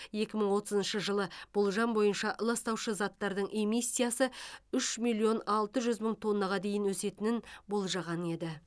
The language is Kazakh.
екі мың отызыншы жылы болжам бойынша ластаушы заттардың эмиссиясы үш миллион алты жүз мың тоннаға дейін өсетінін болжаған еді